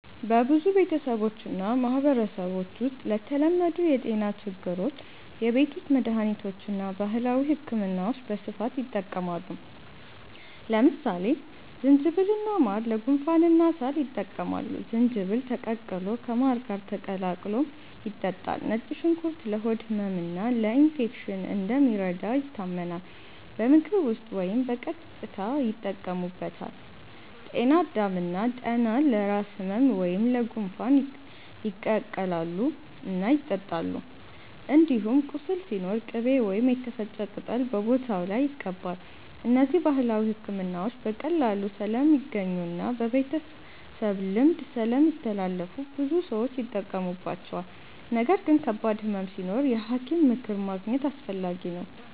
በብዙ ቤተሰቦችና ማህበረሰቦች ውስጥ ለተለመዱ የጤና ችግሮች የቤት ውስጥ መድሃኒቶችና ባህላዊ ሕክምናዎች በስፋት ይጠቀማሉ። ለምሳሌ ዝንጅብልና ማር ለጉንፋንና ሳል ይጠቅማሉ፤ ዝንጅብል ተቀቅሎ ከማር ጋር ተቀላቅሎ ይጠጣል። ነጭ ሽንኩርት ለሆድ ህመምና ለኢንፌክሽን እንደሚረዳ ይታመናል፤ በምግብ ውስጥ ወይም በቀጥታ ይጠቀሙበታል። ጤና አዳም እና ጠና ለራስ ህመም ወይም ለጉንፋን ይቀቀላሉ እና ይጠጣሉ። እንዲሁም ቁስል ሲኖር ቅቤ ወይም የተፈጨ ቅጠል በቦታው ላይ ይቀባል። እነዚህ ባህላዊ ሕክምናዎች በቀላሉ ስለሚገኙና በቤተሰብ ልምድ ስለሚተላለፉ ብዙ ሰዎች ይጠቀሙባቸዋል። ነገር ግን ከባድ ህመም ሲኖር የሐኪም ምክር ማግኘት አስፈላጊ ነው።